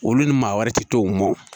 Olu ni maa wɛrɛ ti to mɔn